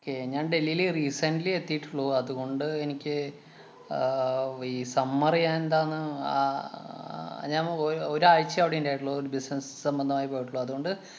kay ഞാന്‍ ഡൽഹിയില് recently എത്തിയിട്ടുള്ളൂ. അതുകൊണ്ട് എനിക്ക് ആഹ് ഈ summer റ് എന്താന്ന് ആഹ് ഞാന്‍ ഒര്~ ഒരാഴ്ചയേ അവിടെ ഇണ്ടായിട്ടുള്ളൂ. ഒരു business സംബന്ധമായി പോയിട്ടുള്ളൂ. അതുകൊണ്ട്